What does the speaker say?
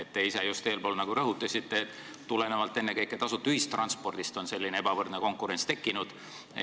Te ise just nagu rõhutasite, et tulenevalt ennekõike tasuta ühistranspordist on selline ebavõrdne konkurents tekkinud.